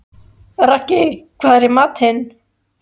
Raggi, hvað er í matinn?